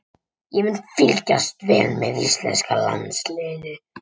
Ég mun fylgjast vel með íslenska liðinu.